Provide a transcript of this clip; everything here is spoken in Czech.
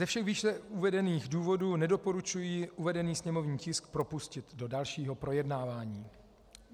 Ze všech výše uvedených důvodů nedoporučuji uvedený sněmovní tisk propustit do dalšího projednávání.